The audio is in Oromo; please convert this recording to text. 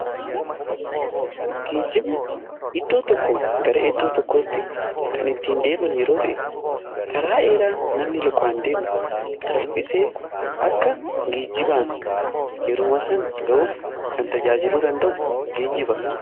ggeejjibni iddoo tokko gara iddoo tokkootti kan ittiin deeman yeroo ta'e: karaa dheeraa namni lukaan deemu salphisee akka geejibaan yeruma sana ga'uuf kan tajaajiluu danda'u geejjiba.